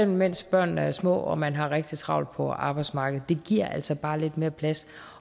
mens børnene er små og man har rigtig travlt på arbejdsmarkedet det giver altså bare lidt mere plads